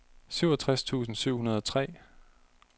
syvogtres tusind syv hundrede og tre